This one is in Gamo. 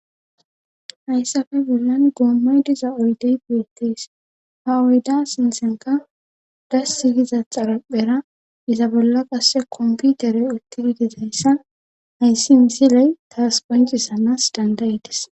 Hayssafe bollan goommay diza oydey biettees ha uyda sinsenka dasi giza xaraphera iza bolla qasse komputerey uttidi dizayssa hayssi misiley taas poncisanas dandayites.